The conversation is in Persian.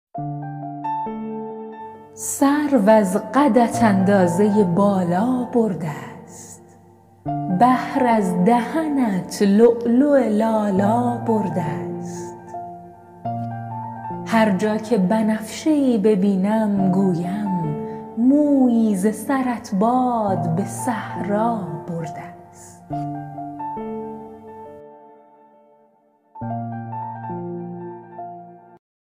سرو از قدت اندازه بالا بردست بحر از دهنت لؤلؤ لالا بردست هر جا که بنفشه ای ببینم گویم مویی ز سرت باد به صحرا بردست